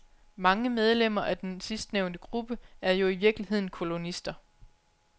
Mange medlemmer af den sidstnævnte gruppe er jo i virkeligheden kolonister.